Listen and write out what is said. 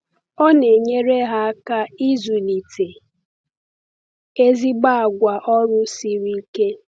Ọ na-enyere ha aka ịzụlite ezigbo àgwà ọrụ siri ike.